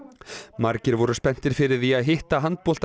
margir voru spenntir fyrir því að hitta